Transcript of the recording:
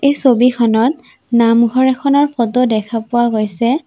এই ছবিখনত নামঘৰ এখনৰ ফটো দেখা পোৱা গৈছে।